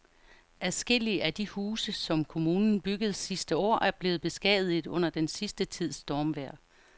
Adskillige af de huse, som kommunen byggede sidste år, er blevet beskadiget under den sidste tids stormvejr.